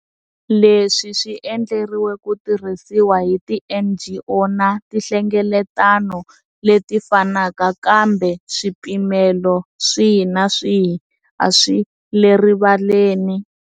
Leswi swi endleriwe ku tirhisiwa hi tiNGO, na tinhlengeletano leti fanaka kambe swipimelo swihi na swihi a swi le rivaleni.